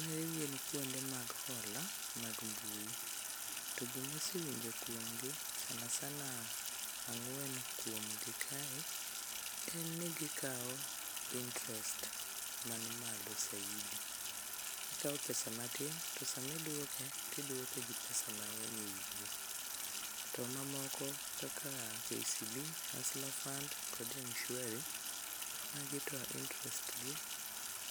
Magi gin kuonde mag hola mag mbui to gimasewinjo kuomgi sana sana ang'wen kuomgi kae en ni gikawo interest man malo saidi. Ikawo pesa matin to samiduoke tiduoke gi pesa mang'eny e wiye. To mamoko kaka KCB, hustler fund kod mshwari, magi to interest gi